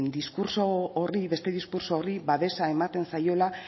beste diskurtso horri babesa ematen zaiola